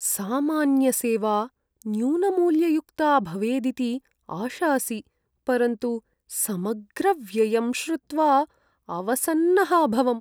सामान्यसेवा न्यूनमूल्ययुक्ता भवेदिति आशासि, परन्तु समग्रव्ययं श्रुत्वा अवसन्नः अभवम्।